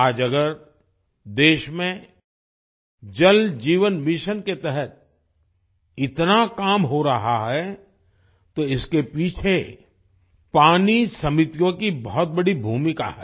आज अगर देश में जल जीवन मिशन के तहत इतना काम हो रहा है तो इसके पीछे पानी समितियों की बहुत बड़ी भूमिका है